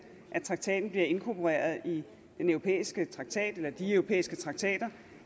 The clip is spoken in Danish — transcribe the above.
at traktaten bliver inkorporeret i den europæiske traktat eller de europæiske traktater